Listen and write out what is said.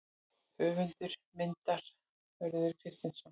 Höfundur myndar: Hörður Kristinsson.